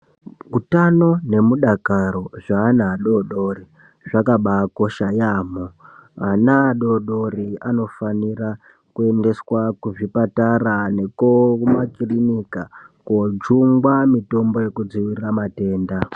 Utano nemudakaro zveana adodori zvakabakosha yamo, ana adodori anofanira kuendeswa kuzvipatara nekuhumakirinika kojungwa mitombo yekudzivirira matenda.